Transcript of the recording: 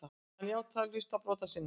Hann játaði hluta brota sinna.